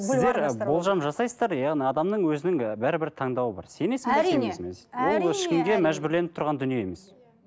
сіздер ы болжам жасайсыздар яғни адамның өзінің ы бәрібір таңдауы бар сенесің бе сенбейсің бе ол ешкімге мәжбүрленіп тұрған дүние емес